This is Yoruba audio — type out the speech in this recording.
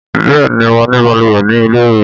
Bẹ́ẹ̀ ni, mo ní balùwẹ̀ ní ilé mi.